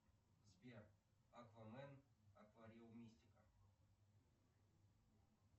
сбер аквамен аквариумистика